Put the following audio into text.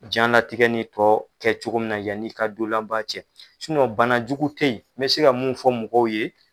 Janlatigɛ nin tɔ kɛ cogo min na yann'i ka don laban cɛ banajugu tɛ yen n bɛ se ka mun fɔ mɔgɔw ye